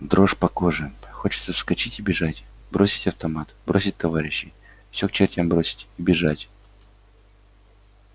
дрожь по коже хочется вскочить и бежать бросить автомат бросить товарищей всё к чертям бросить и бежать